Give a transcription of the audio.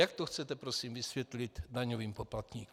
Jak to chcete prosím vysvětlit daňovým poplatníkům?